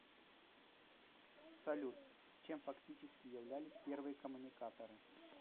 салют чем фактически являлись первые коммуникаторы